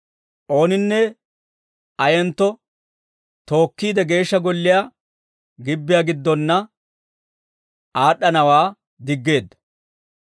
ooninne ayentto tookkiide, Geeshsha Golliyaa gibbiyaa giddonna aad'd'anawaa diggeedda.